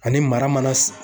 Ani mara mana